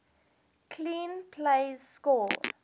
clean plays score